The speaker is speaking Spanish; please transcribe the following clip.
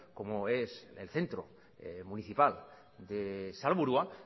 como es el centro municipal de salburua